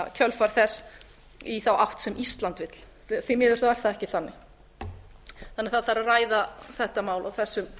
kjölfar þess í þá átt sem ísland vill því miður er það ekki þannig það þarf að ræða þetta mál á þessum